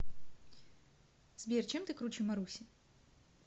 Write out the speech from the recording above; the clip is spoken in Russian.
сбер чем ты круче маруси